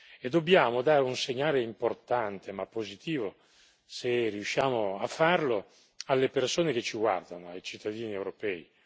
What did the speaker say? E dobbiamo dare un segnale importante, ma positivo, se riusciamo a farlo, alle persone che ci guardano, ai cittadini europei.